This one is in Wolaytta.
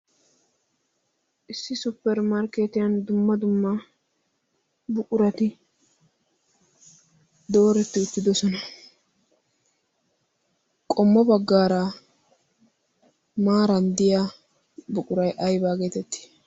issi supperimarkkeetiyan dumma dumma buqurati dooretti uttidosona. qommo baggaara maaran diya buqurai aibaa geetetti?